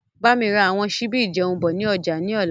Bámi ra àwọn sibi ìjẹun bọ̀ ni ọjà ni ọ̀la.